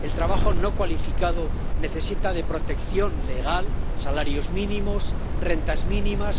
El trabajo no cualificado necesita de protección legal —salarios mínimos, rentas mínimas—.